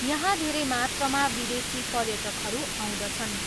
यहाँ धेरै मात्रामा विदेशी पर्यटकहरू आउँदछन्।